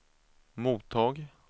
mottag